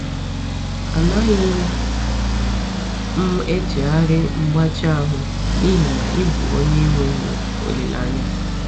“Anaghị m echegharị mgbachi ahụ n’ihi na ị bụ onye enweghị olileanya.”